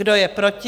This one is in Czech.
Kdo je proti?